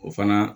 O fana